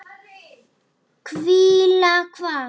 Hvíla hvað?